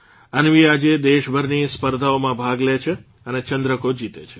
અન્વી આજે દેશભરની સ્પર્ધાઓમાં ભાગ લે છે અને ચંદ્રકો જીતે છે